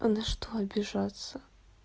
а на что обижаться